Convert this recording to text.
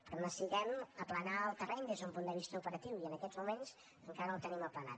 però necessitem aplanar el terreny des d’un punt de vista operatiu i en aquests moments encara no el tenim aplanat